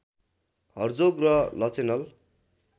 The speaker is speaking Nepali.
हर्जोग र लचेनल